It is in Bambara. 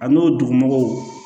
A n'o dugumɔgɔw